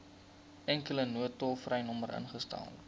enkele noodtolvrynommer ingestel